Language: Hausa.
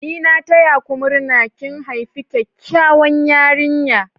N'na taya ku murna!! Kin haifi kyakkyawan yarinya.